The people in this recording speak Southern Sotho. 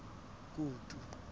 kutu